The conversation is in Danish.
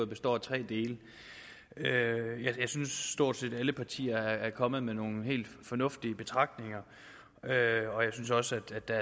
består af tre dele jeg synes at stort set alle partier er kommet med nogle helt fornuftige betragtninger og jeg synes også at der